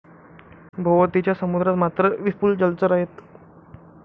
भोवतीच्या समुद्रात मात्र विपुल जलचर आहेत.